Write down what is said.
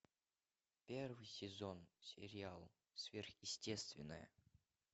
первый сезон сериала сверхъестественное